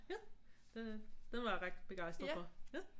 Ja den er den var jeg ret begejstret for